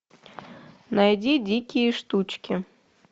найди дикие штучки